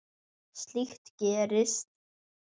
Slíkt gerist.